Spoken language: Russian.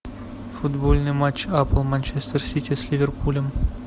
футбольный матч апл манчестер сити с ливерпулем